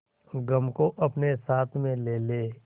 गम को अपने साथ में ले ले